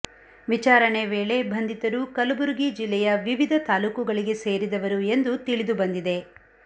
ವಿಚಾರಣೆ ವೇಳೆ ಬಂಧಿತರು ಕಲಬುರಗಿ ಜಿಲ್ಲೆಯ ವಿವಿಧ ತಾಲೂಕುಗಳಿಗೆ ಸೇರಿದವರು ಎಂದು ತಿಳಿದು ಬಂದಿದೆ